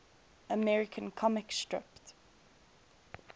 american comic strip